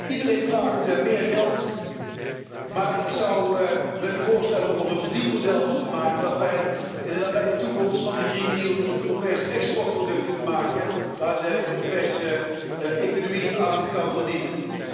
Iedereen vraagt meer geld, maar ik zou willen voorstellen om er een verdienmodel van te maken, zodat wij in de nabije toekomst van de Green Deal een Europees exportproduct kunnen maken waar de Europese economie aan kan verdienen.